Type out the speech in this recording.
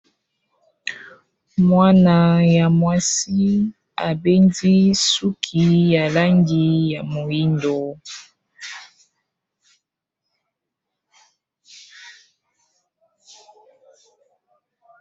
Mwana ya mwasi abendi suki ya langi ya moyindo.